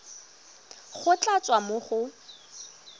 go tla tswa mo go